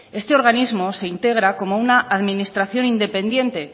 este organismo se integra como una administración independiente